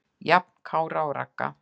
Jafn Kára og Ragga.